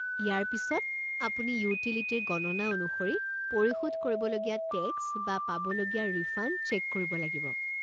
ইয়াৰ পিছত আপুনি ইউটিলিটিৰ গণনা অনুসৰি পৰিশোধ কৰিব লগীয়া টেক্স বা পাবলগীয় ৰিফাণ্ড চেক কৰিব লাগিব।